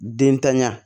Den tanya